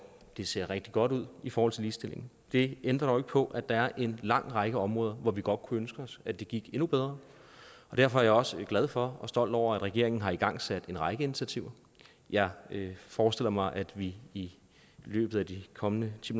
det ser rigtig godt ud i forhold til ligestillingen det ændrer på at der er en lang række områder hvor vi godt kunne ønske os at det gik endnu bedre og derfor er jeg også glad for og stolt over at regeringen har igangsat en række initiativer jeg forestiller mig at vi i løbet af de kommende ti